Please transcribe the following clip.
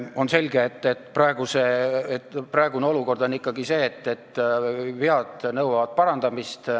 On selge, et praeguses olukorras ikkagi vead nõuavad parandamist.